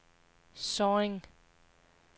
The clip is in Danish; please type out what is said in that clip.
Sorring